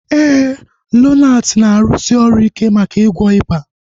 Éè, Lonati na-arụsi ọrụ ike maka ịgwọ ịba